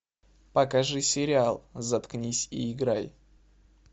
покажи сериал заткнись и играй